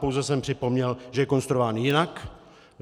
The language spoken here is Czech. Pouze jsem připomněl, že je konstruován jinak.